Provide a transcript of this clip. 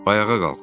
Ayağa qalx.